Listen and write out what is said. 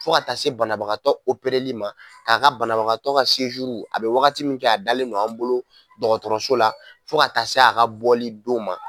Fo ka taa se banabagatɔ opereli ma, k'a ka banabagatɔ ka , a bɛ wagati min k'a dalen ma an bolo dɔgɔtɔrɔso la fo ka taa se a ka bɔli don ma.